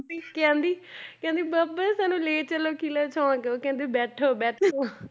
ਵੀ ਕਹਿੰਦੀ ਕਹਿੰਦੀ ਬਾਬਾ ਜੀ ਸਾਨੂੰ ਲੈ ਚਲੋ ਕਿੱਲਾ ਚੌਂਕ ਉਹ ਕਹਿੰਦਾ ਬੈਠੋ ਬੈਠੋ